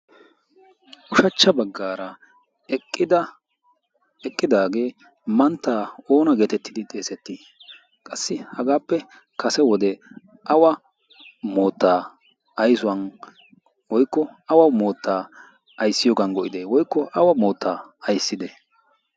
Ushachcha baggaara eqqidaagee manttaa oona geetettidi xeesettii? Qassi hagaappe kase wode awa moottaa aysuwan woykko awa moottaa ayssiyoogan go'ide woykko awa moottaa aysside?